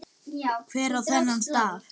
Hver á þennan staf?